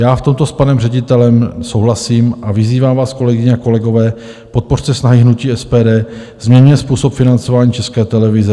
Já v tomto s panem ředitelem souhlasím a vyzývám vás, kolegyně a kolegové, podpořte snahy hnutí SPD, změňme způsob financování České televize.